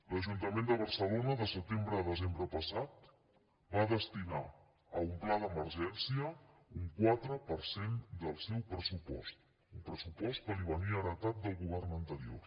l’ajuntament de barcelona de setembre a desembre passat va destinar a un pla d’emergència un quatre per cent del seu pressupost un pressupost que li venia heretat del govern anterior